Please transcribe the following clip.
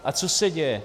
A co se děje?